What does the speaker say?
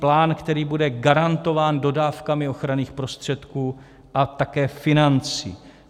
Plán, který bude garantován dodávkami ochranných prostředků a také financí.